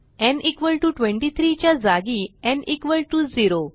न् 23 च्या जागी न् 0